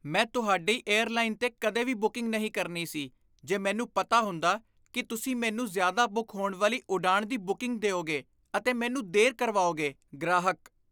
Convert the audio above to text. ਮੈਂ ਤੁਹਾਡੀ ਏਅਰਲਾਈਨ 'ਤੇ ਕਦੇ ਵੀ ਬੁਕਿੰਗ ਨਹੀਂ ਕਰਨੀ ਸੀ ਜੇ ਮੈਨੂੰ ਪਤਾ ਹੁੰਦਾ ਕੀ ਤੁਸੀਂ ਮੈਨੂੰ ਜ਼ਿਆਦਾ ਬੁੱਕ ਹੋਣ ਵਾਲੀ ਉਡਾਣ ਦੀ ਬੁਕਿੰਗ ਦਿਉਗੇ ਅਤੇ ਮੈਨੂੰ ਦੇਰ ਕਰਵਾਓਗੇ ਗ੍ਰਾਹਕ